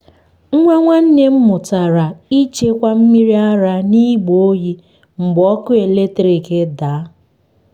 nwa nwanne m mụtara ịchekwa mmiri ara n’igbe oyi mgbe ọkụ eletrik daa.